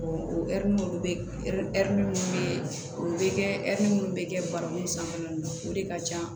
o ɛri minnu bɛ ɛri minnu bɛ o bɛ kɛ ɛri minnu bɛ kɛ barakun sanfɛla ninnu na o de ka ca